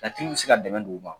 Ka bɛ se ka dɛmɛ don u ma